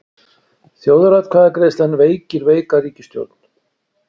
Þjóðaratkvæðagreiðslan veikir veika ríkisstjórn